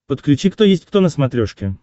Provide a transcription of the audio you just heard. подключи кто есть кто на смотрешке